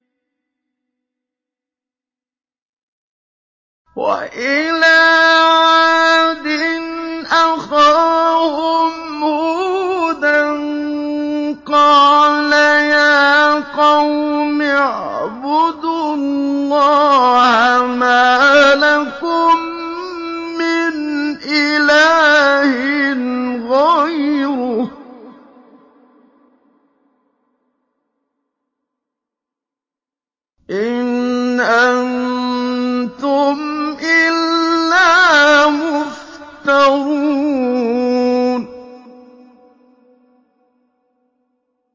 وَإِلَىٰ عَادٍ أَخَاهُمْ هُودًا ۚ قَالَ يَا قَوْمِ اعْبُدُوا اللَّهَ مَا لَكُم مِّنْ إِلَٰهٍ غَيْرُهُ ۖ إِنْ أَنتُمْ إِلَّا مُفْتَرُونَ